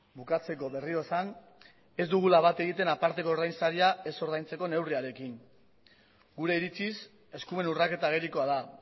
bukatzeko berriro esan ez dugula bat egiten aparteko ordainsaria ez ordaintzeko neurriarekin gure iritziz eskumen urraketa agerikoa da